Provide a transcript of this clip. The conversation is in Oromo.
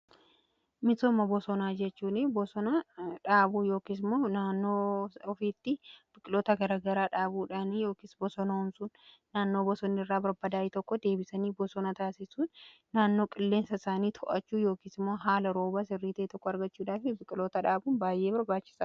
Misooma bosonaa jechuun bosona dhaabuu yookiis immoo naannoo ofiitti biqiloota gara garaa dhaabuudhaani yookiis bosonoomsuun naannoo bosonni irraa barbaadaa'ee tokko deebisanii bosona taasisuun naannoo qilleensaa isaanii to'achuu yookiis immoo haala roobaa sirrii ta'e tokko argachuudhaafi biqiloota dhaabuun baay'ee barbaachisaadha.